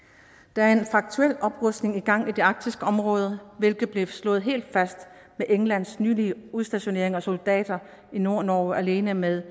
der er en faktuel oprustning i gang i det arktiske område hvilket blev slået helt fast med englands nylige udstationering af soldater i nordnorge alene med